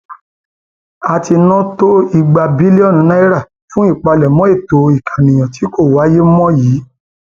a ti ná tó igba bílíọnù náírà fún ìpalẹmọ ètò ìkànìyàn tí kò wáyé mọ yìí